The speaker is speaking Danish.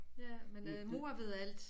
Ja men øh mor ved alt